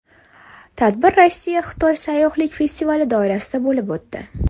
Tadbir RossiyaXitoy sayyohlik festivali doirasida bo‘lib o‘tdi.